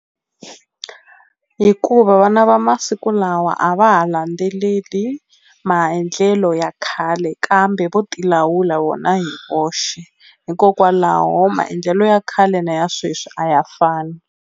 Hikuva vana va masiku lawa a va ha landzeleli maendlelo ya khale kambe vo ti lawula vona hi voxe hikokwalaho maendlelo ya khale na ya sweswi a ya fani.